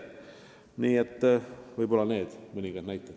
Nii et need mõningad näited.